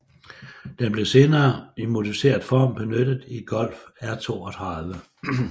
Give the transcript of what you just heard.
Den blev senere i modificeret form benyttet i Golf R32